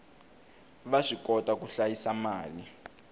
va swikota ku hlayisa mali